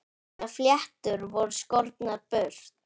Mínar fléttur voru skornar burt.